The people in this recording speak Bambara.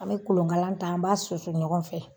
An be kolonkalan ta, an b'a susu ɲɔgɔn fɛ.